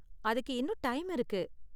அதுக்கு இன்னும் டைம் இருக்கு.